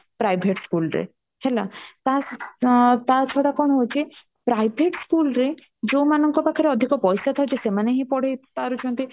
private school ରେ ହେଲା ତା ଛଡା କଣ ହଉଚି private school ରେ ଯୋଉମାନଙ୍କ ପାଖରେ ପଇସା ଅଧିକ ଥାଉଛି ସେମାନେ ହିଁ ପଢେଇ ପାରୁଛନ୍ତି